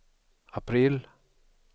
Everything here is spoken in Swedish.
april